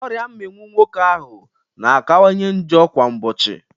Ọrịa mminwụ nwoke ahụ na akawanye njọ kwa ụbọchị.